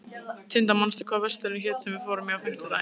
Tindar, manstu hvað verslunin hét sem við fórum í á fimmtudaginn?